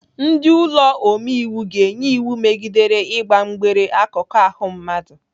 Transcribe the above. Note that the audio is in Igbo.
Ndị ụlọ omeiwu ga-enye iwu megidere ịgba mgbere akụkụ ahụ mmadụ.